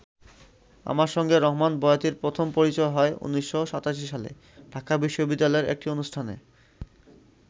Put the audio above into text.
আমার সঙ্গে রহমান বয়াতির প্রথম পরিচয় হয় ১৯৮৭ সালে ঢাকা বিশ্ববিদ্যালয়ের একটি অনুষ্ঠানে।